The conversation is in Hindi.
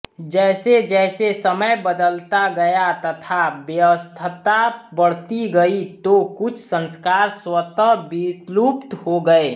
जैसेजैसे समय बदलता गया तथा व्यस्तता बढती गई तो कुछ संस्कार स्वतः विलुप्त हो गये